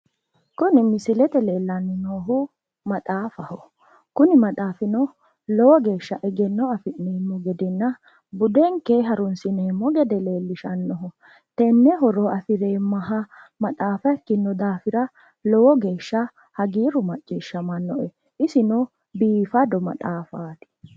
Kuni misilete leellanni noohu maxaafaho. Kuni maxaafino lowo geeshsha egenno afi'neemmo gedenna budenke harunsineemmo gede leellishannoho. Tenne horo afireemmaha maxaafa ikkinno daafira lowo geeshsha hagiirru macciishshamannoe. Isino biifado maxaafaati.